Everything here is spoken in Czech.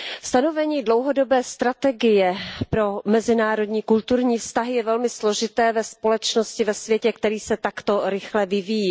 Stanovení dlouhodobé strategie pro mezinárodní kulturní vztahy je velmi složité ve společnosti, ve světě, který se takto rychle vyvíjí.